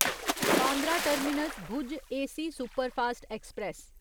Bandra terminus Bhuj AC superfast express